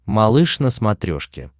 малыш на смотрешке